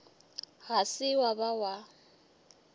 ga se wa ba wa